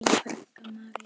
Þín frænka, María.